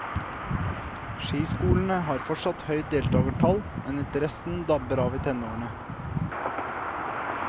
Skiskolene har fortsatt høye deltagertall, men interessen dabber av i tenårene.